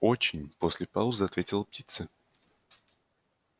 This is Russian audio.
очень после паузы ответила птица